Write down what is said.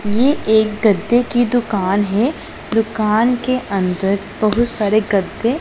ये एक गद्दे की दुकान है दुकान के अंदर बहुत सारे गद्दे--